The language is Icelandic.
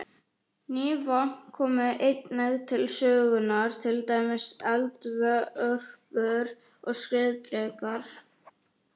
Ný vopn komu einnig til sögunnar, til dæmis eldvörpur og skriðdrekar.